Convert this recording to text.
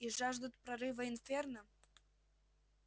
и жаждут прорыва инферно